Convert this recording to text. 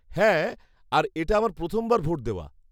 -হ্যাঁ আর এটা আমার প্রথমবার ভোট দেওয়া।